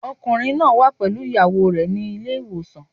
Ọkùnrin náà wà pẹ̀lú ìyàwó rẹ̀ nílé ìwòsàn.